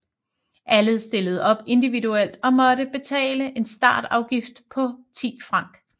Alle stillede op individuelt og måtte betale en startafgift på 10 franc